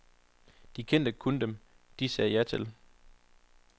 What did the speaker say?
De kendte kun dem, de sagde ja til.